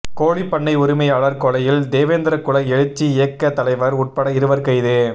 கோழிப்பண்ணை உரிமையாளர் கொலையில் தேவேந்திரகுல எழுச்சி இயக்க தலைவர் உட்பட இருவர் கைது